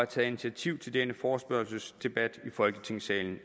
taget initiativ til denne forespørgselsdebat i folketingssalen